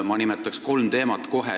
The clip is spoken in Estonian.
Ma nimetan praegu kolm teemat.